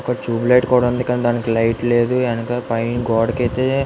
ఒక tube light కూడా ఉంది. కానీ దానికి లైట్ లేదు. యనక పైన గోడకి అయితే --